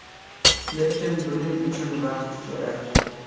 Lekin, buning uchun vaqt kerak.